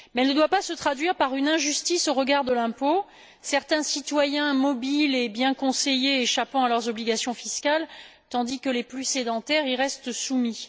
Mais elle ne doit pas se traduire par une injustice au regard de l'impôt, certains citoyens mobiles et bien conseillés échappant à leurs obligations fiscales, les plus sédentaires y restant soumis.